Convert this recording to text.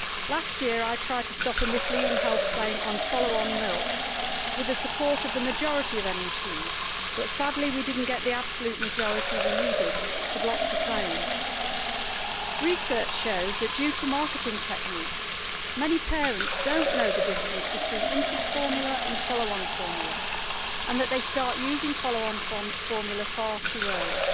Last year I tried to stop a misleading health claim on follow on milk with the support of the majority of MEPs, but sadly we did not get the absolute majority we needed to block the claim. Research shows that due to marketing techniques many parents do not know the difference between infant formula and follow on formula and that they start using follow on formula far too early.